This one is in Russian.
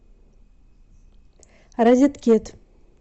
розеткед